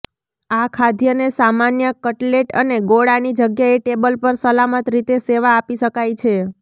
આ ખાદ્યને સામાન્ય કટલેટ અને ગોળાની જગ્યાએ ટેબલ પર સલામત રીતે સેવા આપી શકાય છે